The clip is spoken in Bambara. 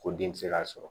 Ko den ti se ka sɔrɔ